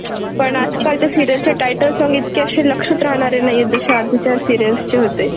पण आज कालच्या सीरियल चे टायटल साँग इतक्या अशे लक्षात राहणारे नाहीये जशे आधीच्या सीरियल्स चे होते.